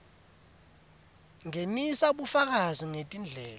ngenisa bufakazi betindlela